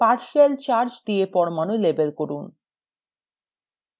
partial charge দিয়ে পরমাণু label করুন